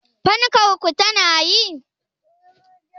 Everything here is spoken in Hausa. Fankar ku tana yi?